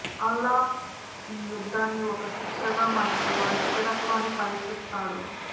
అల్లాహ్ ఈ యుద్ధాన్ని ఒక శిక్షగా మరియు వారి స్థిరత్వాన్ని పరీక్షిస్తాడు